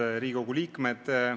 Head Riigikogu liikmed!